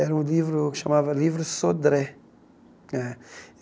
era um livro que se chamava Livro Sodré. Eh